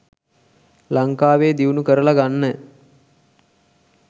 ලංකාවෙ දියුණු කරල ගන්න.